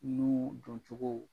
N'i y'u jɔn cogo